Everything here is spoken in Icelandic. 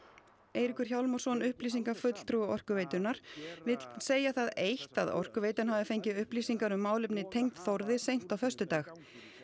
Eiríkur Hjálmarsson upplýsingafulltrúi Orkuveitunnar vill segja það eitt að Orkuveitan hafi fengið upplýsingar um málefni tengd Þórði seint á föstudag